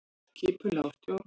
Skipulag og stjórn